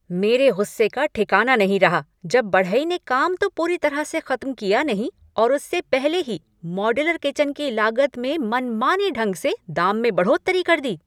मेरे गुस्से का ठिकाना नहीं रहा जब बढ़ई ने काम तो पूरी तरह से खत्म किया नहीं और उससे पहले ही मॉड्यूलर किचन की लागत में मनमाने ढंग से दाम में बढ़ोतरी कर दी।